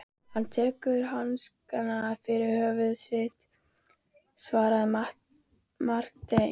Hann tekur upp hanskann fyrir föður sinn, svaraði Marteinn.